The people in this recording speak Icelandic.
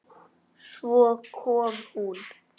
Svo kom hún.